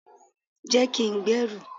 je kin gberu